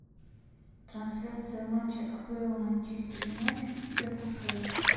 трансляция матча апл манчестер юнайтед и тоттенхэма